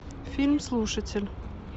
фильм слушатель